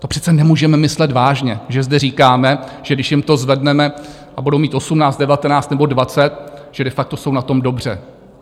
To přece nemůžeme myslet vážně, že zde říkáme, že když jim to zvedneme a budou mít 18, 19 nebo 20, že de facto jsou na tom dobře.